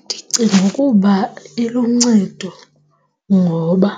Ndicinga ukuba iluncedo ngoba